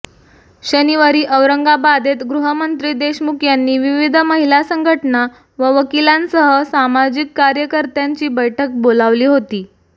शनिवारी औरंगाबादेत गृहमंत्री देशमुख यांनी विविध महिला संघटना व वकिलांसह सामाजिक कार्यकर्त्यांची बैठक बोलावली होती